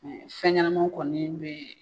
fɛn ɲɛnamaw kɔni bɛɛ